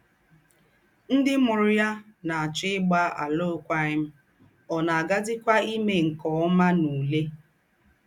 Ńdị́ mùrù ya ná-àchọ̀ ígbà àlụ́kwághìm, ọ́ ná-aghị̀zìkwá èmé nke ómà n’ùlè.